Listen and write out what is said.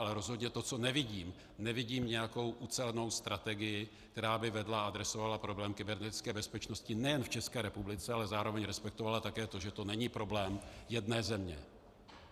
Ale rozhodně to, co nevidím, nevidím nějakou ucelenou strategii, která by vedla a adresovala problém kybernetické bezpečnosti nejen v České republice, ale zároveň respektovala také to, že to není problém jedné země.